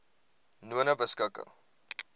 nonebeskikking